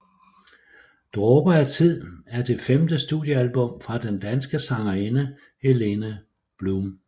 Dråber af Tid er det femte studiealbum fra den danske sangerinde Helene Blum